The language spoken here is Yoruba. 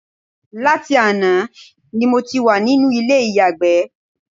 Láti àná ni mo ti wà nínú ilé ìyàgbẹ́